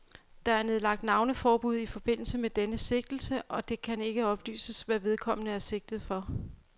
Der er nedlagt navneforbud i forbindelse med denne sigtelse, og det kan ikke oplyses, hvad vedkommende er sigtet for.